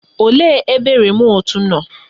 Olee ebe remut nọ?